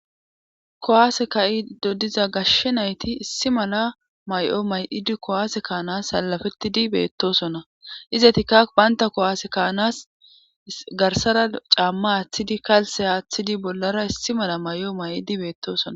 kuwaase ka7ido diza gashshe nayti issi mala may7o may7idi kowaase kaanas salafettidi beettosona izetikkak baynta kowaase kaanas garsara caamma aaththidi kalse aaththidi bollara issi mala may7o may7idi beettosona